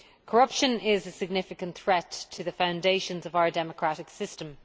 Corruption is a significant threat to the foundations of our democratic system.